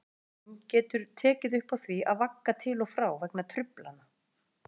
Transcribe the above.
Snúningsásinn getur tekið upp á því að vagga til og frá vegna truflana.